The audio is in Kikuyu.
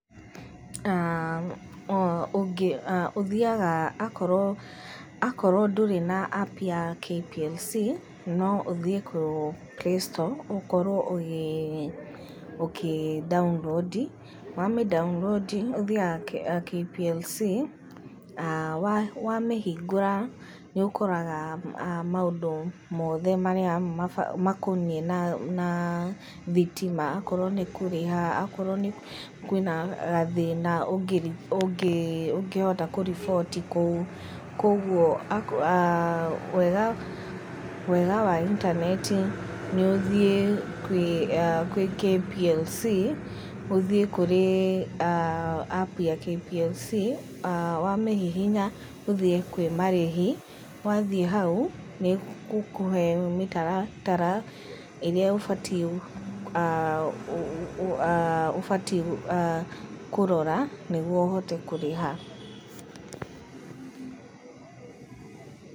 Ũthiaga akorwo, akorwo ndũrĩ na App ya KPLC, no ũthiĩ kwĩ playstore, ũkorwo ũkĩ download, wamĩ download ũthiaga KPLC wamĩhingũra, nĩũkoraga maũndũ mothe makoniĩ na thitima, akorwo nĩ kũrĩha, akorwo kwĩna gathĩna, ũngĩhota kũriboti kũu. Koguo wega, wega wa intaneti nĩũthiĩ kwĩ, kwĩ KPLC, ũthiĩ kũrĩ App ya KPLC, wamĩhihinya ũthiĩ kwĩmarĩhi, wathiĩ hau, nĩgũkũhe mĩtaratara ĩrĩa ũbatiĩ, ũbatiĩ kũrora nĩguo ũhote kũrĩha.